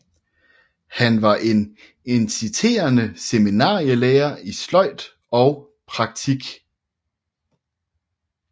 Han var en inciterende seminarielærer i sløjd og praktik